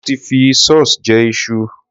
Mo ti fi sauce jẹ iṣu.